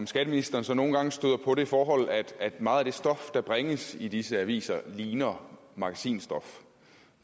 skatteministeren så nogle gange på det forhold at meget af det stof der bringes i disse aviser ligner magasinstof